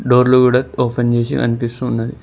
డోర్లు గుడా ఓపెన్ చేసి కనిపిస్తూ ఉన్నది.